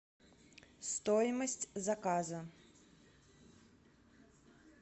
стоимость заказа